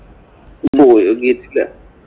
പോയി നോക്കിയിട്ടില്ല.